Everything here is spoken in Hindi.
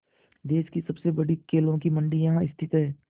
देश की सबसे बड़ी केलों की मंडी यहाँ स्थित है